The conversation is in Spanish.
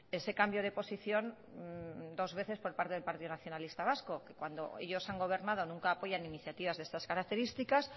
ese cambio de posición dos veces por parte del partido nacionalista vasco cuando ellos han gobernado nunca apoyan iniciativas de estas características